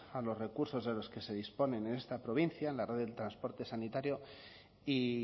a los recursos de los que se disponen en esta provincia en la red del transporte sanitario y